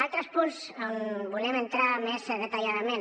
altres punts on volem entrar més detalladament